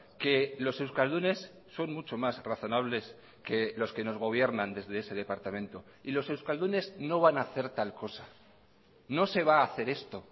que los euskaldunes son mucho más razonables que los que nos gobiernan desde ese departamento y los euskaldunes no van a hacer tal cosa no se va a hacer esto